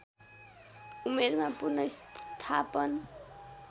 उमेरमा पुनर्स्थापन